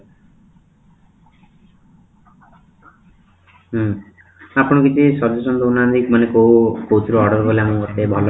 ହୁଁ ଆପଣ କିଛି solution ଦଉ ନାହାନ୍ତି ମାନେ କୋଉ ଥିରୁ order କଲେ ଆମକୁ ମୋତେ ଭଲ